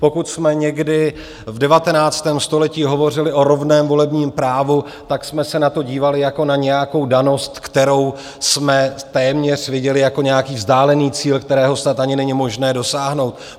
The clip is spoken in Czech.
Pokud jsme někdy v 19. století hovořili o rovném volebním právu, tak jsme se na to dívali jako na nějakou danost, kterou jsme téměř viděli jako nějaký vzdálený cíl, kterého snad ani není možné dosáhnout.